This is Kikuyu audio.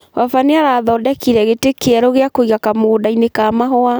Baba nĩarathondekire gĩtĩ kĩerũ gĩa kũiga kamũgũnda-inĩ ka mahũa